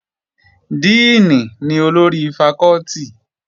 Díìnì ni olórí fakọ́tì